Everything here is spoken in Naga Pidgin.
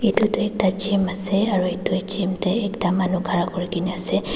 itu toh ekta G_Y_M ase aro itu G_Y_M te ekta manu khara kuri kena ase.